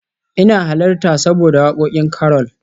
ina halarta saboda wakokin Carol